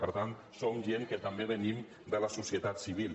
per tant som gent que també venim de la societat civil